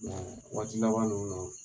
Nka waati laban nunu na